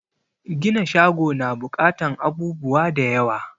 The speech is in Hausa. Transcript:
Gina shago na buƙatan abubuwa da yawa